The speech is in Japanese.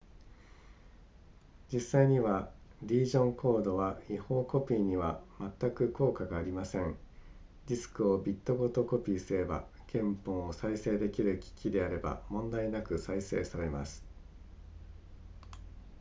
実際にはリージョンコードは違法コピーにはまったく効果がありませんディスクをビットごとにコピーすれば原本を再生できる機器であれば問題なく再生されます